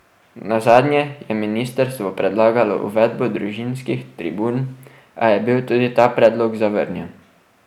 Nazadnje je ministrstvo predlagalo uvedbo družinskih tribun, a je bil tudi ta predlog zavrnjen.